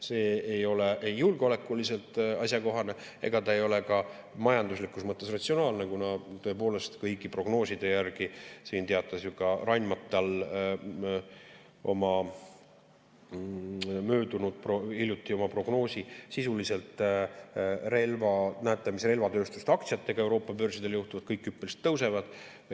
See ei ole ei julgeolekuliselt asjakohane ega ka majanduslikus mõttes ratsionaalne, kuna tõepoolest, kõigi prognooside järgi – teatas ju ka Rheinmetall hiljuti oma prognoosi – näete, mis relvatööstuste aktsiatega Euroopa börsidel juhtub, kõik hüppeliselt tõusevad.